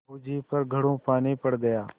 बहू जी पर घड़ों पानी पड़ गया